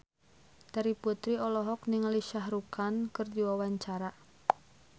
Terry Putri olohok ningali Shah Rukh Khan keur diwawancara